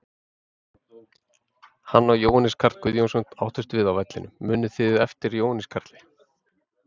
Hann og Jóhannes Karl Guðjónsson áttust við á vellinum, munið þið eftir Jóhannes Karli?